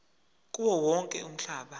kuwo wonke umhlaba